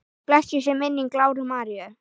Blessuð sé minning Láru Maríu.